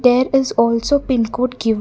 there is also pin code given--